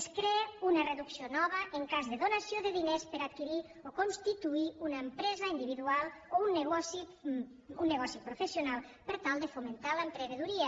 es crea una reducció nova en cas de donació de diners per a adquirir o constituir una empresa individual o un negoci professional per tal de fomentar l’emprenedoria